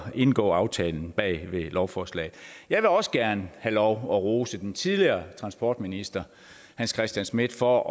indgå aftalen bag lovforslaget jeg vil også gerne have lov at rose den tidligere transportminister hans christian schmidt for